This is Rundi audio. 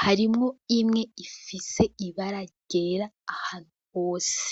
harimwo imwe ifise ibara ryera ahantu hose